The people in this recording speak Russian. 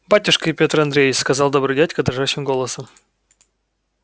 батюшка пётр андреич сказал добрый дядька дрожащим голосом